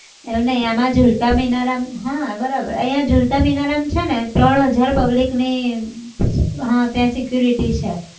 એવું નહિ એમાં ઝુલતા મિનારામાં હા બરાબર અહીંયા ઝુલતા મિનારામાં છેને ત્રણ હજાર public ની હા ત્યાં security છે